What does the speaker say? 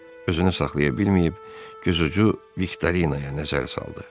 Özünü saxlaya bilməyib gözucu Viktorinaya nəzər saldı.